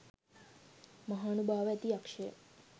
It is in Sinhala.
මහානුභාව ඇති යක්ෂය